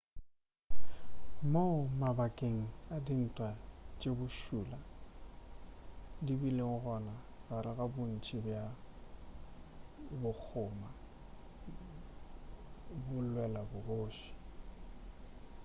mo mabakeng a dintwa tše bošula di bile gona gare ga bontši bja bakgoma bo lwela bogoši